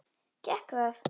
Gekk það?